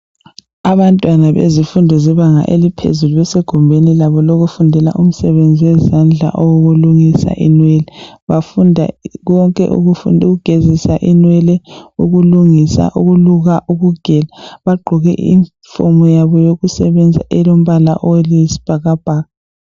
Abantwana bezifundo zebanga eliphezulu besegumbeni labo lokufundela umsebenzi wezandla owokulungisa inwele, bafunda konke ukufunda ukugezisa inwele, ukulungisa , ukuluka, ukugela. Bagqoke iyunifomu yabo yokusebenza elombala oyisibhakabhaka.